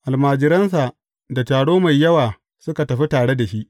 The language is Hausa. Almajiransa da taro mai yawa suka tafi tare da shi.